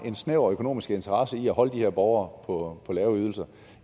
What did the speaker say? en snæver økonomisk interesse i at holde de her borgere på lave ydelser